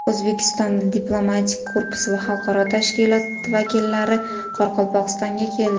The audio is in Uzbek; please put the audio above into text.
O‘zbekistondagi diplomatik korpus va xalqaro tashkilotlar vakillari Qoraqalpog‘istonga keldi.